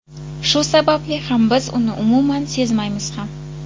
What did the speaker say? Shu sababli ham biz uni umuman sezmaymiz ham.